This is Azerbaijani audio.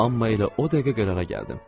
Amma elə o dəqiqə qərara gəldim.